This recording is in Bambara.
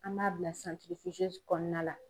An b'a bila kɔnɔna la.